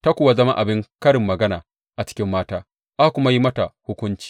Ta kuwa zama abin karin magana a cikin mata, aka kuma yi mata hukunci.